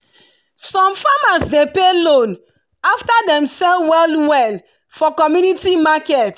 some farmers dey pay loan after dem sell well well for community market.